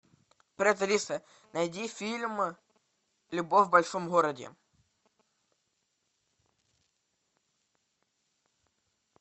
привет алиса найди фильм любовь в большом городе